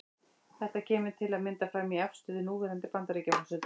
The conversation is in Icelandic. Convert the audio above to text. Þetta kemur til að mynda fram í afstöðu núverandi Bandaríkjaforseta.